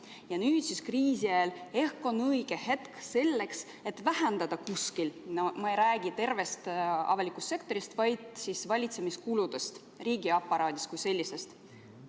Ja nüüd siis kriisi ajal on ehk õige hetk selleks, et vähendada kuskil – ma ei räägi tervest avalikust sektorist, vaid valitsemiskuludest, riigiaparaadist kui sellisest.